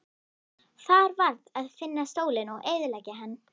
Það varð að finna stólinn og eyðileggja hann.